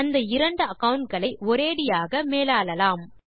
அந்த இரண்டு அகாவுண்ட் களை ஒரேயடியாக மேலாளலாம்